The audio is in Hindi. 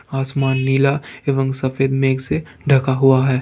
आसमान नीला एवं सफेद मेघ से ढका हुआ है।